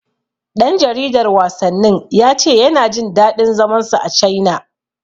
Ɗan jaridar wasannin ya ce yana jin daɗin zaman sa a Caina.